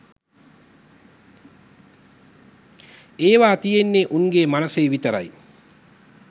ඒව තියෙන්නෙ උන්ගෙ මනසෙ විතරයි